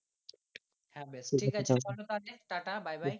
হ্যাঁ বেশ ঠিক আছে ভালো থাকিস টা টা bye bye. হ্যাঁ বেস